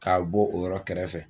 K'a bɔ o yɔrɔ kɛrɛfɛ